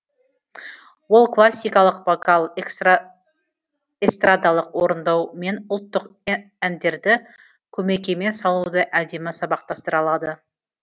ол классикалық вокал эстрадалық орындау мен ұлттық әндерді көмекеймен салуды әдемі сабақтастыра алады